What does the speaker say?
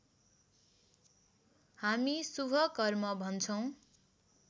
हामी शुभ कर्म भन्छौँ